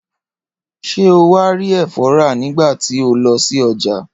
Ṣé o wá rí ẹ̀fọ́ rà nígbà tí o lọ sí ọjà?